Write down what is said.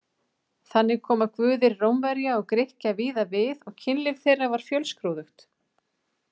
Þannig koma guðir Rómverja og Grikkja víða við og kynlíf þeirra var fjölskrúðugt.